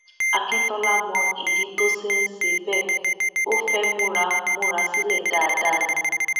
akíntola mọ ìdí tó ṣe ń ṣe bẹẹ ó fẹẹ múra múra sílẹ dáadáa ni